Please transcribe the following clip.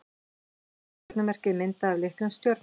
Hvert stjörnumerki er myndað af litlum stjörnuhópi.